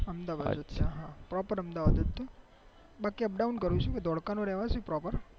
અહમદાવાદ જ છું પ્રોપર અહમદાવાદ થી બાકી up down કરું છું ધોળકા ન રહેવાસી પ્રોપેર